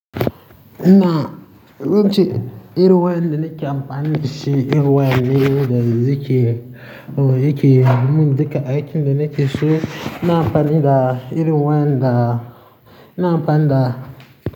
Na, yace irin wayanda nake amfani da shi, irin wayanda zai ke, oya yake, mun duka aikin da nake so ina amfani da irin wayanda na amfani da.